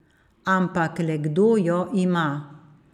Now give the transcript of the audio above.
Ampak le kdo jo ima?